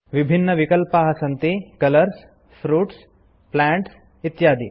विभिन्नविकल्पाः सन्ति colours fruits plants इत्यादि